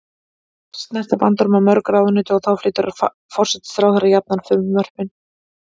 Oft snerta bandormar mörg ráðuneyti og þá flytur forsætisráðherra jafnan frumvörpin.